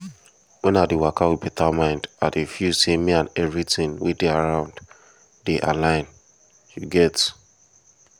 wen i dey waka with better mind i dey feel say me and everything wey dey around dey align you get